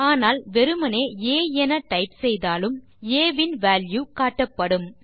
நீங்கள் வெறுமே ஆ டைப் செய்தாலும் ஆ இன் வால்யூ காட்டப்படும்